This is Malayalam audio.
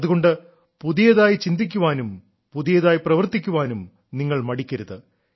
അതുകൊണ്ട് പുതിയതായി ചിന്തിക്കാനും പുതിയതായി പ്രവർത്തിക്കാനും നിങ്ങൾ മടിക്കരുത്